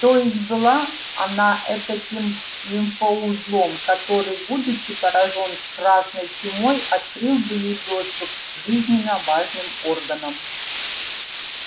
то есть была она этаким лимфоузлом который будучи поражён красной чумой открыл бы ей доступ к жизненно важным органам